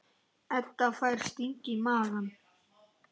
Edda fær sting í magann.